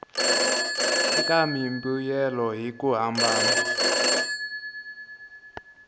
eka mimbuyelo hi ku hambana